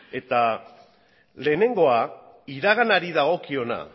lehenengoa iraganari dagokiona